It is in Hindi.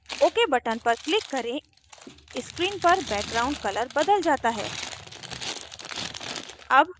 ok button पर click करें screen पर background color बदल जाता है